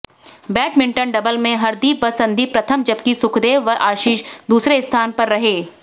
badminton double में हरदीप व संदीप प्रथम जबकि सुखदेव व आशीष दूसरे स्थान पर रहे